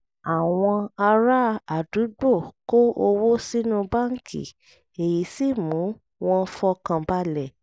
àwọn ará àdúgbò kó owó sínú báńkì èyí sì mú wọn fọkàn balẹ̀